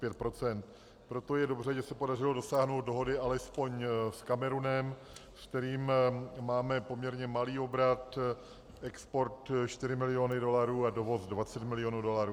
Proto je dobře, že se podařilo dosáhnout dohody alespoň s Kamerunem, se kterým máme poměrně malý obrat - export 4 miliony dolarů a dovoz 20 milionů dolarů.